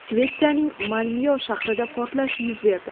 Shvetsiyaning Malmyo shahrida portlash yuz berdi.